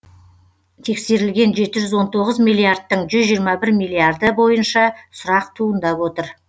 тексерілген жеті жүз он тоғыз миллиардтың жүз жиырма бір миллиарды бойынша сұрақ туындап отыр